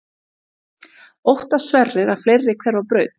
Óttast Sverrir að fleiri hverfi á braut?